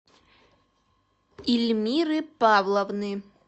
ильмиры павловны